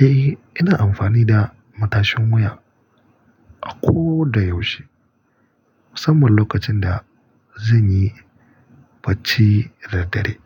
Eh, ina amfani da matashin wuya a ko da yaushe, musamman lokacin da zan yi bacci da dare.